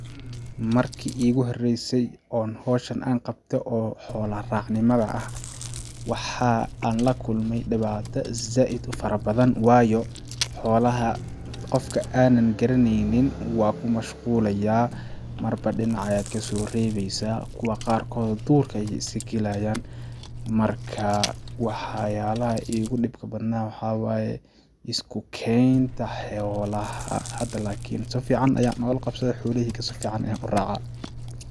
Marki iigu horeysay oo hawshan aan qabte oo xoola raac nimada ah waxaa aan la kulme dhibaato zaaid u fara badan waayo xoolaha qofka aanan garaneynin waa ku mashqulayaa ,marbo dhinac ayaad kasoo rebeysaa ,kuwa qaarkood duurka ayeey iska galayaan ,marka wax yaalaha iigu dhibka badnaa waxaa waaye ,isku keenta xoolaha hada laakin si fiican ayaan oola qabsade xoola heyga si fiican ayaan u racaa .